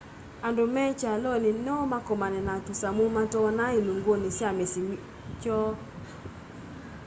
andu me kyaloni no makomane na tusamu mat'oona ilunguni sya misyi kwoo